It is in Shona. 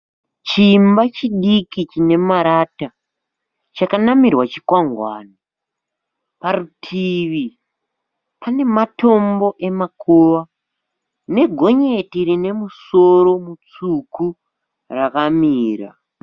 Chimba chidiki chine marata chakanamirwa chikwangwani. Parutivi pane matombo emakuva negonyeti rine musoro mutsvuku rakamira.